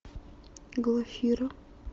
глафира